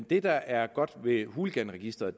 det der er godt ved hooliganregisteret